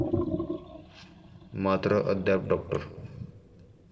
मात्र अद्याप डाॅ.